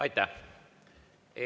Aitäh!